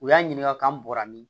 U y'a ɲininka k'an bɔra min